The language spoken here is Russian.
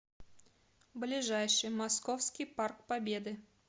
ближайший московский парк победы